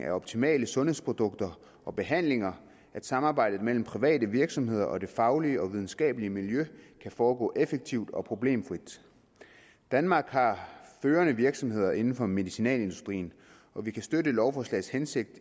af optimale sundhedsprodukter og behandlinger at samarbejdet mellem private virksomheder og det faglige og videnskabelige miljø kan foregå effektivt og problemfrit danmark har førende virksomheder inden for medicinalindustrien og vi kan støtte lovforslagets hensigt